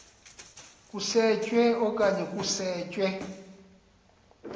usetshwe okanye kusetshwe